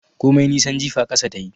Komai nisan jifa ƙasa tayi